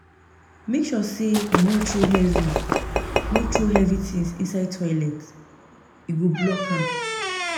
Make sure sey you no throw heavy no throw heavy tins inside toilet, e go block am.